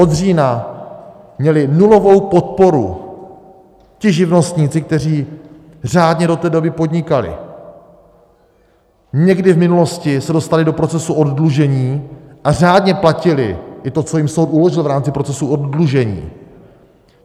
Od října měli nulovou podporu ti živnostníci, kteří řádně do té doby podnikali, někdy v minulosti se dostali do procesu oddlužení a řádně platili i to, co jim soud uložil v rámci procesu oddlužení.